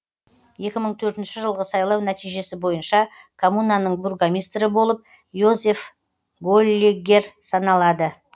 екі мың төртінші жылғы сайлау нәтижесі бойынша коммунаның бургомистрі болып йозеф голлеггер саналады